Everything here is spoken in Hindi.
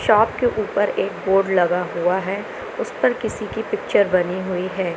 चौक के ऊपर एक बोर्ड लगा हुआ है उस पर किसी की पिक्चर बनी हुई है।